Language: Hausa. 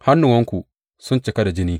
Hannuwanku sun cika da jini!